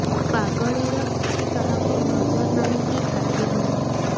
ପାଗଳୀର କିଛି କାହାକୁ ନଜର ନାହିଁ କି ଖାତିର ନାହିଁ